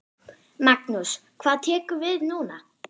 Magnús: Hvað tekur við núna?